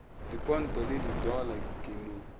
diponto le didollar ke no